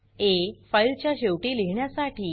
आ - file च्या शेवटी लिहिण्यासाठी